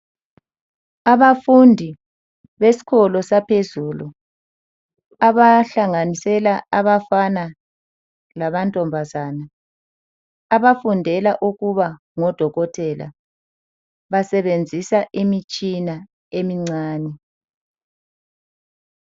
Abafundi besikolo saphezulu abahlanganisela abafana lamankazana abafundela ukuba ngodokotela ngodokotela basebenzisa imitshina emincane.